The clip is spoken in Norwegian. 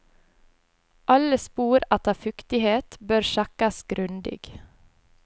Alle spor etter fuktighet bør sjekkes grundig.